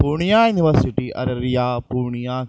Purnia university Araria Purnia --